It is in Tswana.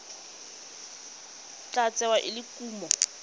tla tsewa e le kumo